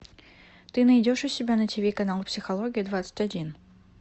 ты найдешь у себя на тв канал психология двадцать один